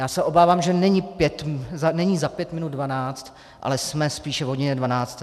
Já se obávám, že není za pět minut dvanáct, ale jsme spíše v hodině dvanácté.